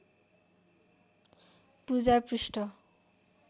पूजा पृष्ठ